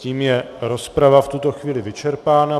Tím je rozprava v tuto chvíli vyčerpána.